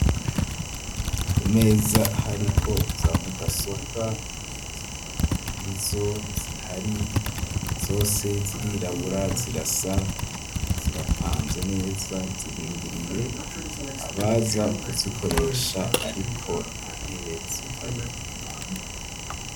Imeza, hariko za mudasobwa, nizo zihari zose zirirabura ,zirasa zirapanze neza, zirindiriye abaza kuzikoresha, ariko nta ntebe zihari.